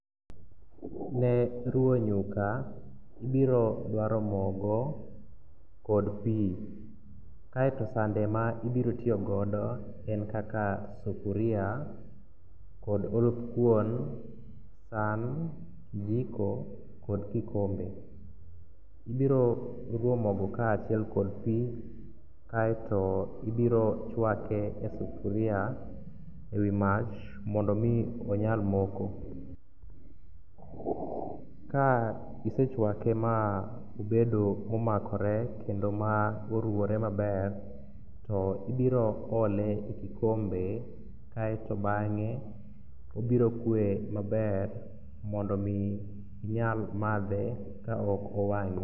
Ne ruwo nyuka ibirodwaro mogo kod pi kaeto sande maibirotiyogodo en kaka sufuria kod oluth kuon, san, kijiko kod kikombe. Ibiroruwo mogo kaachiel kod pi kaeto ibirochwake e sufuria e wi mach mondo omi onyal moko. Ka isechwake ma obedo momakore kendo ma oruwore maber to ibiro ole e kikombe kaeto bang'e obirokwe maber mondo omi inyal madhe kaok owang'i.